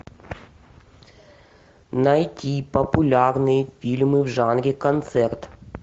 найти популярные фильмы в жанре концерт